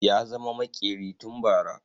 Ya zama maƙeri tun bara